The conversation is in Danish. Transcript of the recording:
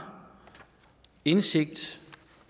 indsigt